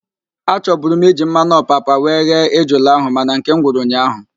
Achoburu m iji mmanụ opapa were ghee ejula ahụ mana nkem gwụrụ ụnyaahụ